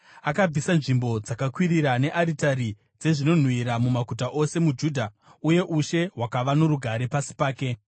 Akabvisa nzvimbo dzakakwirira nearitari dzezvinonhuhwira mumaguta ose muJudha, uye ushe hwakava norugare pasi pake.